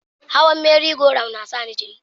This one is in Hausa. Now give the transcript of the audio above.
Hawan Merry- go- round na sa ni jiri.